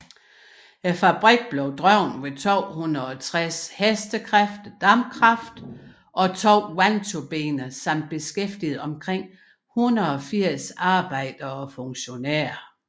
Fabrikken blev drevet ved 260 hk dampkraft og to vandturbiner samt beskæftigede omkring 180 arbejdere og funktionærer